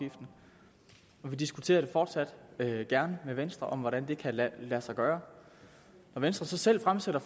vi diskuterer fortsat gerne med venstre om hvordan det kan lade sig gøre når venstre så selv fremsætter